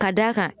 Ka d'a kan